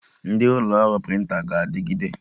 Ndị ụlọ ọrụ prịntịn ga-adịgide